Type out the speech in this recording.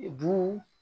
Bu